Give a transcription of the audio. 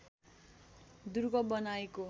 दुर्ग बनाएको